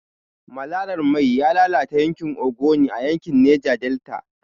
Malalar mai ya lalata yankin Ogoni a yankin Neja Delta.